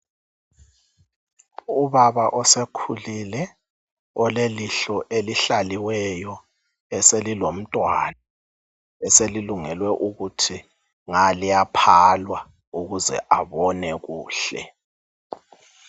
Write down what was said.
Ubaba osekhulile olelihlo elihlalileyo, eselilomntwana eselilungelwe ukuthi nga liyaphalwa ukuze abone kuhle.